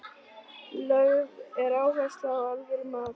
Lögð er áhersla á alvöru mat.